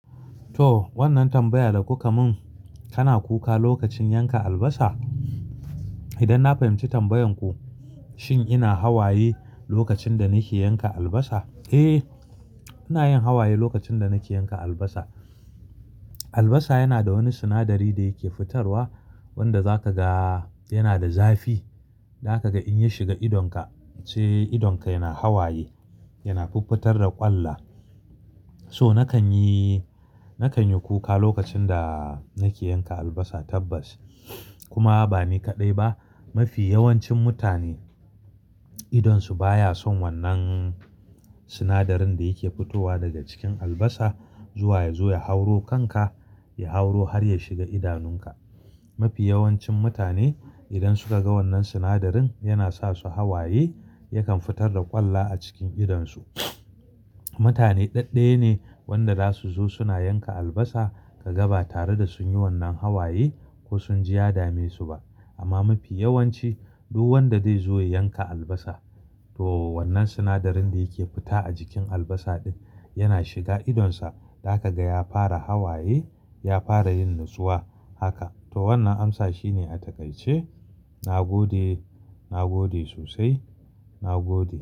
To wannan tambaya da kuka mun, kana kuka lokacin yanka albasa? Idan na fahimci tambayan ku, shin ina hawaye lokacin da nake yanka albasa? Eh, ina yin hawaye lokacin da nake yanka albasa. Albasa yana da wani sinadari da yake fitarwa wanda za ka ga yana da zafi. Za ka ga in ya shiga idonka, sai idonka yana hawaye, yana fiffitar da ƙwallo. So nakan yi, nakan yi kuka lokacin da nake yanka albasa tabbas. Kuma ba ni kaɗai ba, mafi yawancin mutane idonsu baya son wannan sinadarin da yake fitowa daga cikin albasa zuwa ya zo ya hauro kanka, ya hauro har ya shiga idanunka. Mafi yawancin mutane idan suka ga wannan sinadarin yana sa su hawaye, yakan fitar da ƙwallo a cikin idonsu. Mutane ɗaɗɗaya ne wanda za su zo suna yanka albasa ka ga ba tare da sun yi wannan hawaye ko sun ji ya damesu ba. Amma mafi yawanci duk wanda zai zo ya yanka albasa to wannan sinadarin da yake fita a jikin albasa ɗin yana shiga idonsa. Za ka ga ya fara hawaye, ya fara yin natsuwa. Haka to wannan amsa shine a takaice. Na gode. Na gode sosai. Na gode.